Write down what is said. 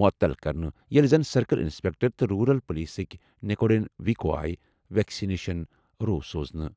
مُعطل کرنہٕ، ییٚلہِ زن سرکل اِنسپیٚکٹر تہٕ روٗرَل پُلیٖسٕکہِ نِکونیڈ وِکو آیہِ ویکسِنیشن روُ سوزنہٕ۔